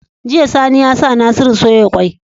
Jiya sani yasa nasiru soya kwai